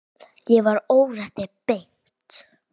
Ég var órétti beitt.